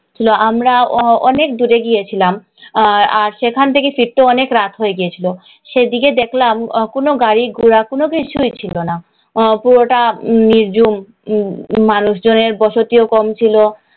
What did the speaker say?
আমরা অনেক দূরে গিয়েছিলাম। সেখান থেকে ফিরতেও অনেক রাত হয়ে গিয়েছিল। সেদিকে দেখলাম কোন গাড়ী ঘোড়া কোন কিছুই ছিলো না। পুরোটা নিরঝুম মানুষ জনের বসতিও কম ছিলো।